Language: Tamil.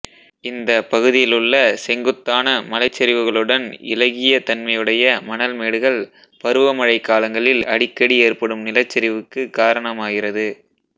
இந்த பகுதியிலுள்ள செங்குத்தான மலைச்சரிவுகளுடன் இளகிய தன்மையுடைய மண்ல்மேடுகள் பருவமழை காலங்களில் அடிக்கடி ஏற்படும் நிலச்சரிவுக்கு காரணமாகிறது